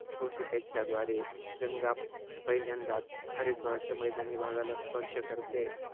ऋषिकेशच्या द्वारे गंगा पहिल्यांदाच हरिद्वारच्या मैदानी भागाला स्पर्श करते.